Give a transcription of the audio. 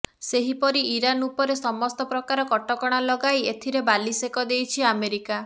ସେହିପରି ଇରାନ୍ ଉପର ସମସ୍ତ ପ୍ରକାର କଟକଣା ଲଗାଇ ଏଥିରେ ବାଲିସେକ ଦେଇଛି ଆମେରିକା